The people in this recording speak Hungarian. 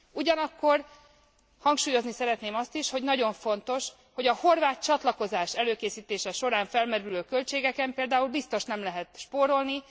Ugyanakkor hangsúlyozni szeretném azt is, hogy nagyon fontos, hogy a horvát csatlakozás előkészítése során felmerülő költségeken például biztos nem lehet spórolni.